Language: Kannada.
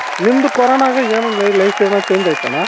ನಿಮ್ದು coronaಗು ಏನಾದ್ರು life ಏನಾದ್ರು change ಆಯ್ತಾ ಅಣ್ಣ,